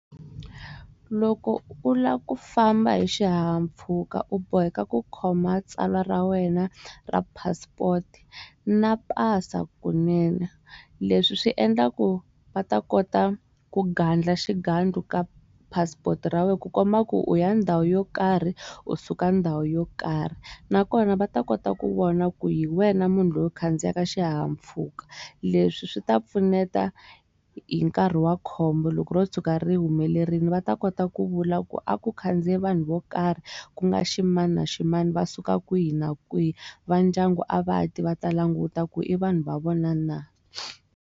Loko u lava ku famba hi xihahampfhuka u boheka ku khoma tsalwa ra wena ra passport na pasa kunene leswi swi endlaku va ta kota ku gandla xigandlo ka passport ra wena ku komba ku u ya ndhawu yo karhi u suka ndhawu yo karhi na kona va ta kota ku vona ku hi wena munhu loyi a khandziyaka xihahampfhuka leswi swi ta pfuneta hi nkarhi wa khombo loko ro tshuka ri humelerile va ta kota ku vula ku a ku khandziya vanhu vo karhi ku nga ximani na ximani va suka kwihi na kwihi va ndyangu a va ti va ta languta ku i vanhu va vona na.